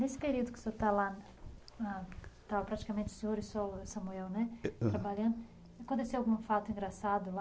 Nesse período que o senhor estava lá, que estavam praticamente o senhor e o Samuel trabalhando, aconteceu algum fato engraçado lá?